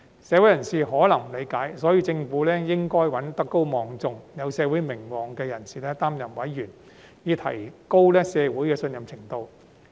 社會人士可能不理解，所以政府應該找德高望重、有社會名望的人士擔任委員，以提高社會的信任程度。